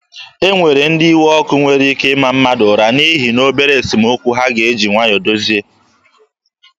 E nwere ndị iwe ọkụ nwere ike ịma mmadụ ụra n'ihi na obere esemokwu a ga-eji nwayọọ dozie.